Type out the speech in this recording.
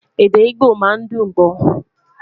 èdè igbó má n dùn gbọ